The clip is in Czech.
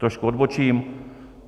Trošku odbočím.